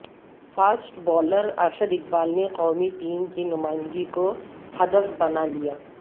fast bowler Arshad Iqbal نے قومی team کی نمائندگی کو ہدف بنالیا